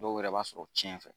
Dɔw yɛrɛ b'a sɔrɔ tiɲɛ fɛ